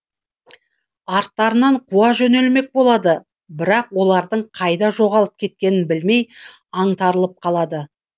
арттарынан қуа жөнелмек болады бірақ олардың қайда жоғалып кеткенін білмей аңтарылып қалады